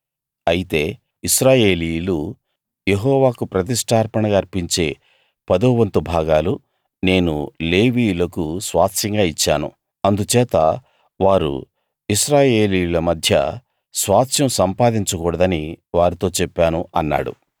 అయితే ఇశ్రాయేలీయులు యెహోవాకు ప్రతిష్ఠార్పణగా అర్పించే పదోవంతు భాగాలు నేను లేవీయులకు స్వాస్థ్యంగా ఇచ్చాను అందుచేత వారు ఇశ్రాయేలీయుల మధ్య స్వాస్థ్యం సంపాదించకూడదని వారితో చెప్పాను అన్నాడు